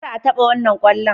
Kar a taba wannan kwallon